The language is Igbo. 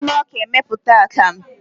A na-esi na ọka emeputa akamu.